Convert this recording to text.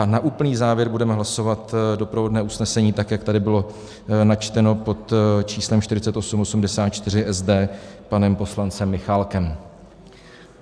A na úplný závěr budeme hlasovat doprovodné usnesení, tak jak tady bylo načteno pod číslem 4884 SD panem poslancem Michálkem.